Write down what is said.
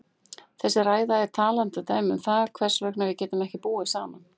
Þessi ræða er talandi dæmi um það hvers vegna við getum ekki búið saman.